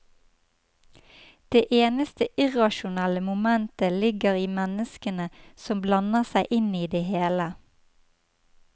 Det eneste irrasjonelle momentet ligger i menneskene som blander seg inn i det hele.